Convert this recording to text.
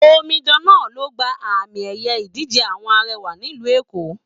Omidan náà ló gbà àmi ẹyẹ ìdíje àwọn arẹwà nílu Eko